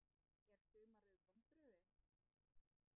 Er sumarið vonbrigði?